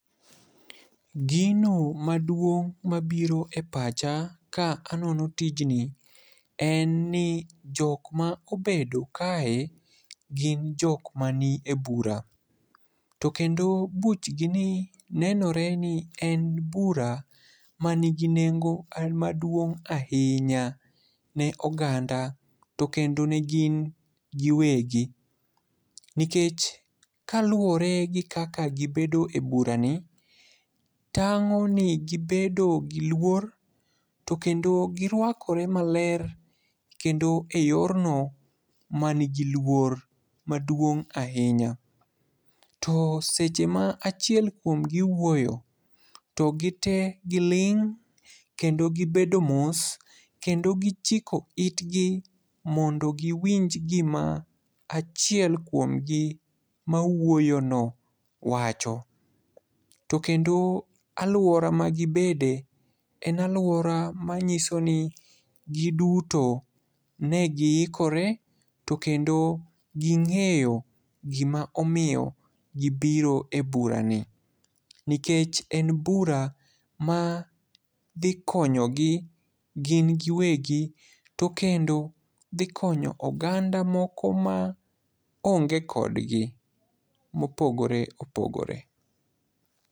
Gino maduong' mapiro e pacha ka anono tijni en ni jok ma obedo kae gin jok mani e bura, to kendo buchgini nenore ni en bura manigi nengo maduong' ahinya ne oganda to kendo ne gin giwegi, nikech kaluwore gi kaka gibedo e burani, tang'o ni gibedo gi luor to kendo girwakore maler kendo e yorno manigi luor maduong' ahinya, to seche ma achiel kuomgi wuoyo, to gite giling' kendo gibedo mos kendo gichiko itgi mondo giwinj gima achiel kuomgi mawuoyono wacho. To kendo alwora magibede en alwora manyiso ni giduto ne giikore to kendo ging'eyo gima omiyo gibiro e burani, nikech en bura ma dhi konyogi gin giwegi, to kendo dhi konyo oganda moko ma onge kodgi, mopogore opogore.